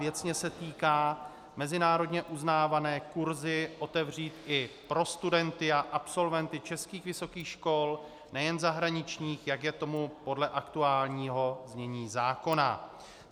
Věcně se týká - mezinárodně uznávané kurzy otevřít i pro studenty a absolventy českých vysokých škol, nejen zahraničních, jak je tomu podle aktuálního znění zákona.